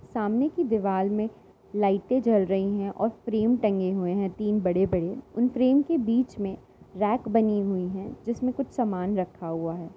सामने की दीवाल में लाइटे जल रही हैं और फ्रेम टंगे हुए हैं तीन बड़े बड़े। उन फ्रेम के बीच में रैक बनी हुई है जिसमें कुछ सामान रखा हुआ है।